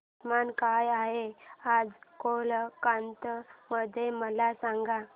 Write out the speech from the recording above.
तापमान काय आहे आज कोलकाता मध्ये मला सांगा